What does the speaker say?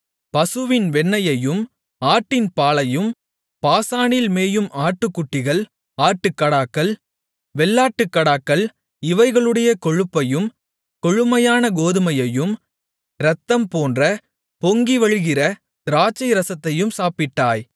பசுவின் வெண்ணெயையும் ஆட்டின் பாலையும் பாசானில் மேயும் ஆட்டுக்குட்டிகள் ஆட்டுக்கடாக்கள் வெள்ளாட்டுக்கடாக்கள் இவைகளுடைய கொழுப்பையும் கொழுமையான கோதுமையையும் இரத்தம்போன்ற பொங்கிவழிகிற திராட்சைரசத்தையும் சாப்பிட்டாய்